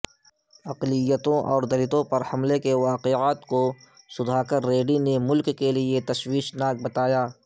اقلیتوں اور دلتوں پر حملوں کے واقعات کوسدھاکرریڈی نے ملک کےلئےتشویشناک بتایا